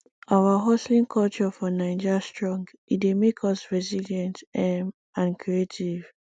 our hustling culture for naija strong e dey make us resilient um and creative